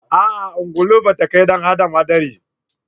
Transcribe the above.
A'a ungulu ba ta kai wa ɗan adam haɗari